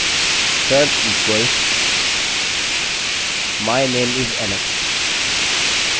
अतः यहाँ मैं टाइप करूँगा search equals my name is alex what is your name